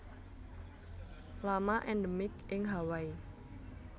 Lama endemik ing Hawaii